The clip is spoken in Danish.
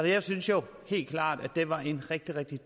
jeg synes jo helt klart at det var en rigtig rigtig